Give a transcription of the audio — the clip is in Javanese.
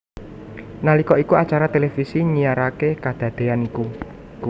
Nalika iku acara televisi nyiaraké kadadéyan iku